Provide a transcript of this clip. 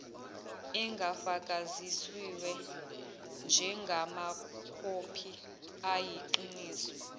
engafakazisiwe njengamakhophi ayiqiniso